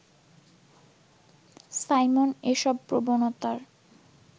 Simon এসব প্রবণতার